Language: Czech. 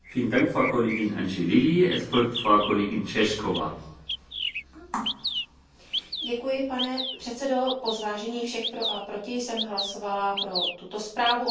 Pane předsedající, po zvážení všech pro a proti jsem hlasovala pro tuto zprávu o zlepšení přístupu malých a středních podniků k financování, nicméně s výhradami ke konkrétním bodům.